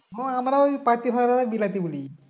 হ্যাঁ আমরা ওই পাতি হওয়াকে বিলাতি বলি